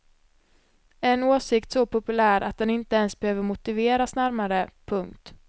En åsikt så populär att den inte ens behöver motiveras närmare. punkt